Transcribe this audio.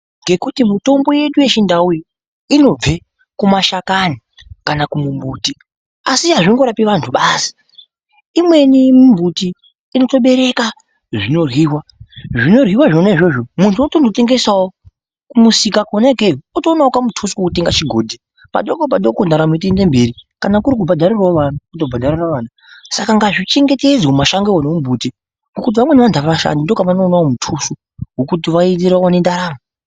Ngekuti mitombo yedu yechindau iyi inobve kumashakani kana kumumbuti asi azvingorapi vantu basi , imweni mimbuti inotobereka zvinoryiwa , zvinoryiwa izvozvo muntu otonotengesawo kumusika Kona ikweyo otoonawo kamutuso otenga chigodhi padoko padoko ndaramo yeitoende mberi, kana kuri kubhadharira vana otobhadharira vana, saka ngazvichengetedzwe mashangowo nomumbuti ngokuti vamweni vantu avashandi ndokwavanowana mutuso wokuti vawane ndaramo.